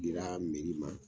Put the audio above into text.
Dira ma